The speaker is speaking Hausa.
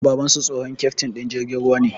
Babansu, tsohon keftin din jirgin ruwa ne